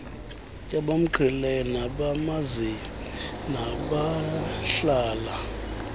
abamqhelileyo nabamaziyo nabahlala